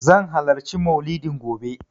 Zan halarci Mauludin gobe.